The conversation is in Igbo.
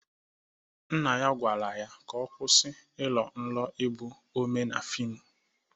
Nna ya gwara ya ka ọ kwụsị ịrọ nrọ ịbụ omee na fịmụ!